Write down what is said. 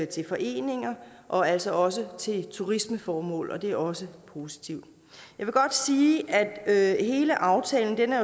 til foreninger og altså også til turismeformål og det er også positivt jeg vil godt sige at hele aftalen